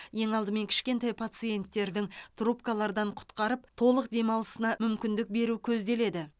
ең алдымен кішкентай пациентердің трубкалардан құтқарып толық демалысына мүмкіндік беру көзделеді